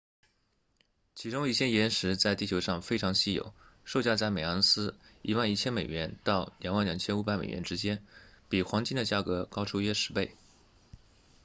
其中一些岩石在地球上非常稀有售价在每盎司 11,000 美元到 22,500 美元之间比黄金的价格高出约十倍